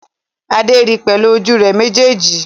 Adé ri pẹ̀lú ojú rẹ̀ méjèèjì